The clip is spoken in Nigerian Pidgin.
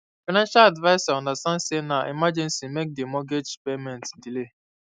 financial adviser understand say na emergency make di mortgage payment delay